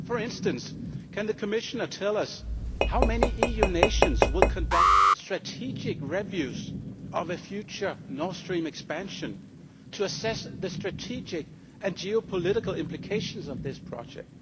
For instance, Commissioner, can you tell us how many EU nations will conduct strategic reviews of the future Nord Stream expansion to assess the strategic and geopolitical implications of this project?